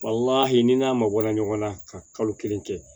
ni n'a mabɔra ɲɔgɔn na ka kalo kelen kɛ